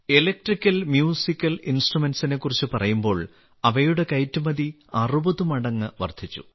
electrical musical ഇൻസ്ട്രുമെന്റിനെക്കുറിച്ച് പറയുമ്പോൾ അവയുടെ കയറ്റുമതി 60 മടങ്ങ് വർദ്ധിച്ചു